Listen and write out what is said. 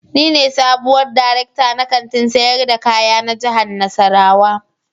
Ni ne sabuwar darekta na Kantin sayar da kaya na jihar nassarawa